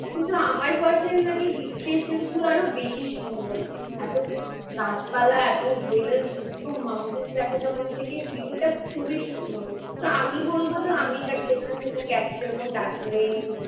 কিন্তু আমার personally hill station গুলো আরো বেশি সুন্দর। এতো গাছপালা এতো health এতো mountains দেখা যাই ওখান থেকে view টা খুবই সুন্দর। তা আমি বলবো তো আমি যেখানে যেখানে গেছি যেমন দার্জিলিং